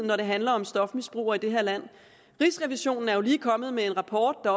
når det handler om stofmisbrugere i det her land rigsrevisionen er jo lige kommet med en rapport der